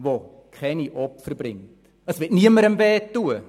Es wird keine Opfer geben und niemandem wehtun.